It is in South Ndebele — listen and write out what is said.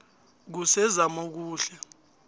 kusezamokuhle